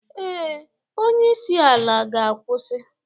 Ee, onye isi ala ga-akwụsị